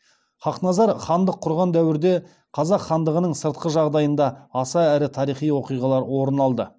хақназар хандық құрған дәуірде қазақ хандығының сыртқы жағдайында аса ірі тарихи оқиғалар орын алды